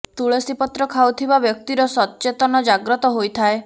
ତୁଳସୀ ପତ୍ର ଖାଉଥିବା ବ୍ୟକ୍ତି ର ସତ୍ ଚେତନ ଜାଗ୍ରତ ହୋଇଥାଏ